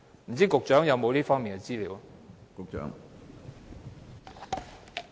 不知局長有否這方面的資料？